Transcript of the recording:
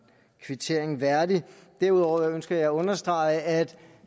kvittering værdigt derudover ønsker jeg at understrege at